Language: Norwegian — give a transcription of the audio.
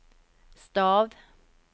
stav